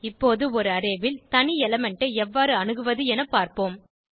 இப்போது ஒரு அரே ல் தனி எலிமெண்ட் ஐ எவ்வாறு அணுகுவது என பார்ப்போம்